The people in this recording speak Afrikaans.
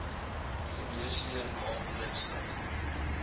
geneesheer naam drukskrif